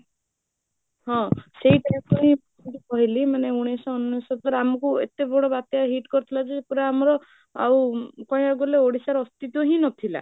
ହଁ ସେଇଥିରେ ପୁଣି ମୁଁ ଯୋଉ କହିଲି ମାନେ ଉନେଇଶହ ଅନେଶ୍ୱତରେ ଆମକୁ ଏତେ ବଡ଼ ବାତ୍ୟା hit କରିଥିଲା ଯେ, ପୁରା ଆମର ଆଉ କହିବାକୁ ଗଲେ ଓଡିଶାର ଅସ୍ତିତ୍ୱଟା ହିଁ ନଥିଲା